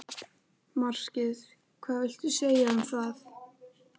Markið hvað viltu segja um það?